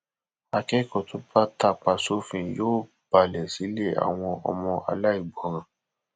akẹkọọ tó bá tapá sófin yóò balẹ sílé àwọn ọmọ aláìgbọràn